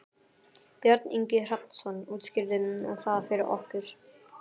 Björn Ingi Hrafnsson: Útskýrðu það fyrir okkur?